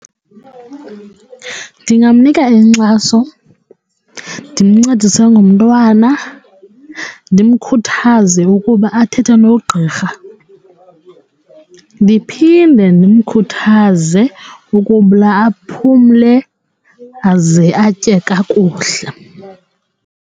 Ndingamnika inkxaso, ndimncedise ngomntwana, ndimkhuthaze ukuba athethe nogqirha, ndiphinde ndimkhuthaze aphumle aze atye kakuhle.